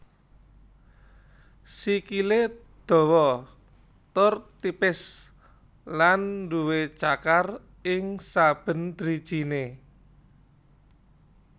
Sikilè dawa tur tipis lan duwé cakar ing saben drijinè